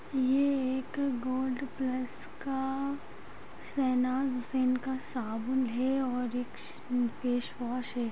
ये एक gold plus का शहनाज हुसैन का साबुन है और एक फेस वॉश हैं।